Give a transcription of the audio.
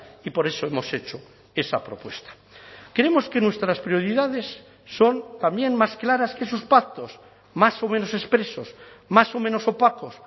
y por eso hemos hecho esa propuesta creemos que nuestras prioridades son también más claras que sus pactos más o menos expresos más o menos opacos